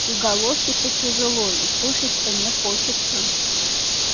и головке-то тяжело и кушать-то не хочется